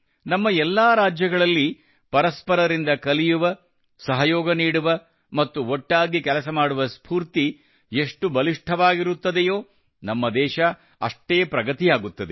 ನಮ್ಮ ಎಲ್ಲಾ ರಾಜ್ಯಗಳಲ್ಲಿ ಪರಸ್ಪರರಿಂದ ಕಲಿಯುವ ಸಹಯೋಗ ನೀಡುವ ಮತ್ತು ಒಟ್ಟಾಗಿ ಕೆಲಸ ಮಾಡುವ ಸ್ಫೂರ್ತಿ ಎಷ್ಟು ಬಲಿಷ್ಠವಾಗಿರುತ್ತದೆಯೋ ನಮ್ಮ ದೇಶ ಅಷ್ಟೇ ಪ್ರಗತಿಯಾಗುತ್ತದೆ